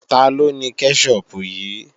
Taló ni kẹ́ṣọpù yìí?